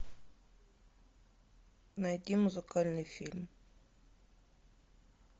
найди музыкальный фильм